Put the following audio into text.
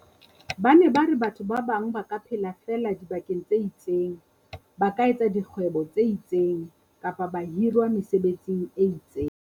Ba ne ba re batho ba bang ba ka phela feela dibakeng tse itseng, ba ka etsa dikgwebo tse itseng, kapa ba hirwa mesebetsing e itseng.